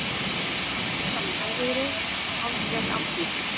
Áfram sama hægviðrið og hálfgerð áttleysa